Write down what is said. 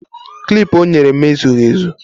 Klip o nyere m ezughị ezu